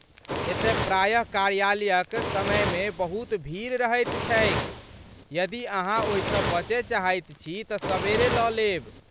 एतय प्रायः कार्यालयक समयमे बहुत भीड़ रहैत छैक, यदि अहाँ ओहिसँ बचय चाहैत छी तँ सबेरे लऽ लेब।